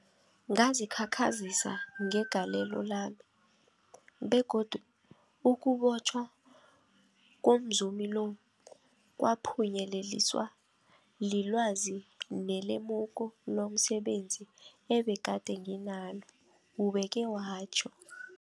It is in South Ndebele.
Ngazikhakhazisa ngegalelo lami, begodu ukubotjhwa komzumi lo kwaphunyeleliswa lilwazi nelemuko lomse benzi ebegade nginalo, ubeke watjho.